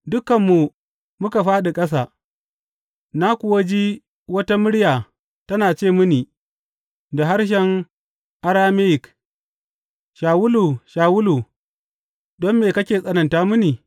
Dukanmu muka fāɗi ƙasa, na kuwa ji wata murya tana ce mini da harshen Arameyik, Shawulu, Shawulu, don me kake tsananta mini?